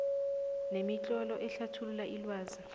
nemitlolo ehlathulula ilwazi